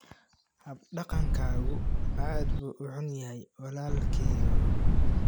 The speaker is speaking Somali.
Hab dhaqankaagu aad buu u xun yahay walaalkeyow.